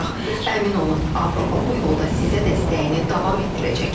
Əmin olun, Avropa bu yolda sizə dəstəyini davam etdirəcək.